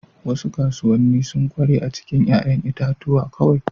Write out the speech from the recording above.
Wasu kasuwanni sun ƙware a cikin 'ya'yan itatuwa kawai.